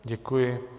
Děkuji.